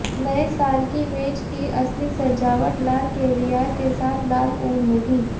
नए साल की मेज की असली सजावट लाल कैवियार के साथ लाल ऊन होगी